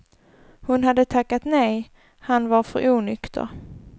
Hon hade tackat nej, han var för onykter.